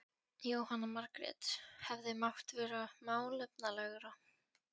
Jóhanna Margrét: Hefði mátt vera málefnalegra?